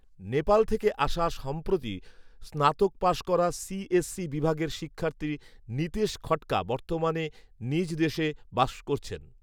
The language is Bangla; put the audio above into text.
নেপাল থেকে আসা সম্প্রতি স্নাতক পাস করা সিএসসি বিভাগের শিক্ষার্থী নিতেশ খঠকা বর্তমানে নিজ দেশে বাস করছেন